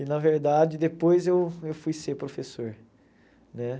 E, na verdade, depois eu eu fui ser professor, né?